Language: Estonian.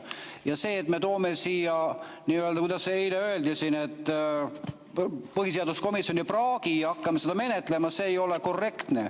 Ja see, et me toome siia, kuidas eile öeldi, põhiseaduskomisjoni praagi ja hakkame seda menetlema, ei ole korrektne.